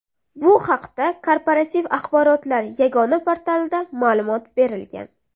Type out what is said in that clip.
Bu haqda Korporativ axborotlar yagona portalida ma’lumot berilgan .